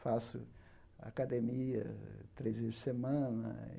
Faço academia três vezes por semana.